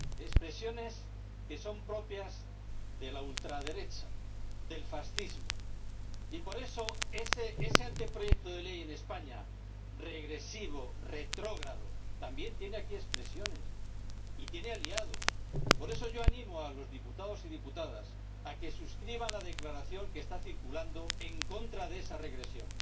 expresiones que son propias de la ultraderecha, del fascismo―, y, por eso, ese anteproyecto de ley en España ―regresivo, retrógrado― también tiene aquí expresiones y tiene aliados. Por eso, yo animo a los diputados y diputadas a que suscriban la declaración que está circulando en contra de esa regresión.